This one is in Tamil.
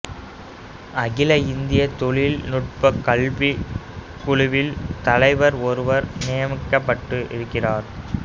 அகில இந்திய தொழில்நுட்பக் கல்விக் குழுவில் தலைவர் ஒருவர் நியமிக்கப்பட்டிருக்கிறார்